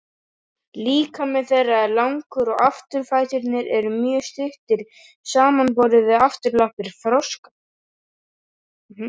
Líkami þeirra er langur og afturfæturnir eru mjög stuttir samanborið við afturlappir froska.